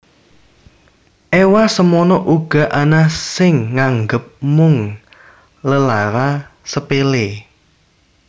Ewa semono uga ana sing nganggep mung lelara sepele